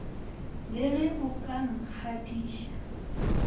le ge o ka nngadiša